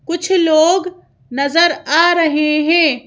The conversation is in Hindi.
कुछ लोग नज़र आ रहे है।